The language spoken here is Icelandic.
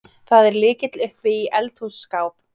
Það er lykill uppi í eldhússkáp.